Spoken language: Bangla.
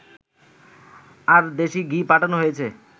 আর দেশি ঘি পাঠানো হয়েছে